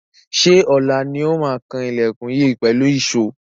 Ṣé ọ̀la ni ó máa kan ilẹkùn yìí pẹ̀lú ìṣó?